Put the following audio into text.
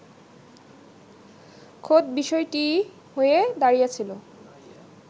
খোদ বিষয়টিই হয়ে দাঁড়িয়েছিল